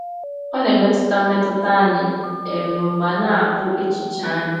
Ọ na-emetụta mmetụta anyị um ma na-akpụ echiche anyị.